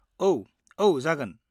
औ, औ, जागोन।